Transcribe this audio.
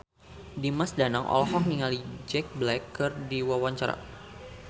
Dimas Danang olohok ningali Jack Black keur diwawancara